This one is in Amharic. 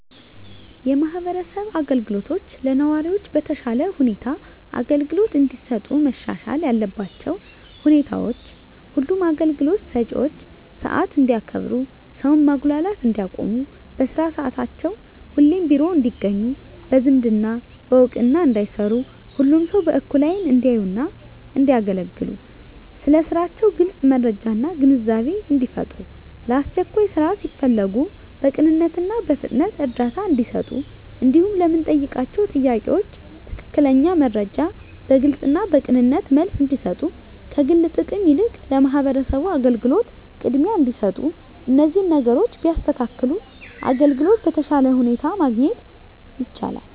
የማህበረሰብ አገልግሎቶች ለነዋሪዎች በተሻለ ሁኔታ አገልግሎት እንዲሰጡ መሻሻል ያለባቸው ሁኔታዎች ሁሉም አገልግሎት ሰጭዎች ሰዓት እንዲያከብሩ ሰውን ማጉላላት እንዲያቆሙ በስራ ሰዓታቸው ሁሌም ቢሮ ውስጥ እንዲገኙ በዝምድና በእውቅና እንዳይሰሩ ሁሉንም ሰው በእኩል አይን እንዲያዩና እንዲያገለግሉ ስለ ስራቸው ግልጽ መረጃና ግንዛቤን እንዲፈጥሩ ለአስቸኳይ ስራ ሲፈለጉ በቅንነትና በፍጥነት እርዳታ እንዲሰጡ እንዲሁም ለምንጠይቃቸው ጥያቄ ትክክለኛ መረጃ በግልጽና በቅንነት መልስ እንዲሰጡ ከግል ጥቅም ይልቅ ለማህበረሰቡ አገልግሎት ቅድሚያ እንዲሰጡ እነዚህን ነገሮች ቢያስተካክሉ አገልግሎት በተሻለ ሁኔታ ማግኘት ይቻላል።